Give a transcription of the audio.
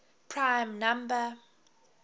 prime number